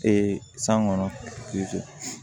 san kɔnɔ